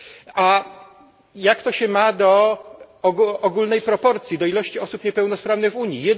A jak to się ma do ogólnej proporcji, do ilości osób niepełnosprawnych w Unii?